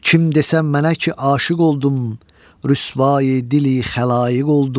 Kim desə mənə ki aşiq oldum, Rüsvai dili xəlaiq oldum.